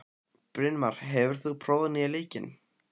Brynmar, hefur þú prófað nýja leikinn?